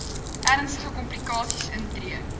ernstige komplikasies intree